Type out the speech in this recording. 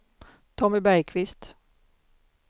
Tommy Bergkvist